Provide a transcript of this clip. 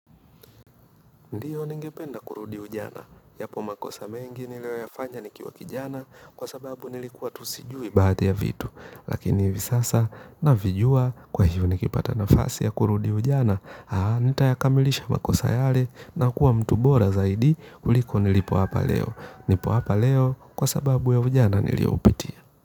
Ndio ni ngependa kurudi ujana, yapo makosa mengi nilio ya fanya nikiwa kijana kwa sababu nilikuwa tu sijui baadhi ya vitu. Lakini hivi sasa navijua kwa hivyo nikipata nafasi ya kurudi ujana, nitayakamilisha makosa yale na kuwa mtu bora zaidi kuliko nilipo hapa leo. Nipo hapa leo kwa sababu ya ujana nilio upitia.